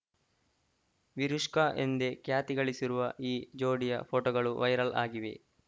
ವಿರುಷ್ಕಾ ಎಂದೇ ಖ್ಯಾತಿ ಗಳಿಸಿರುವ ಈ ಜೋಡಿಯ ಫೋಟೋಗಳು ವೈರಲ್‌ ಆಗಿವೆ